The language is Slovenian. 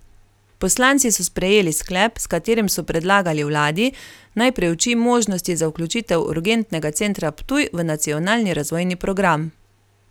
Poslanci so sprejeli sklep, s katerim so predlagali vladi, naj preuči možnosti za vključitev urgentnega centra Ptuj v nacionalni razvojni program.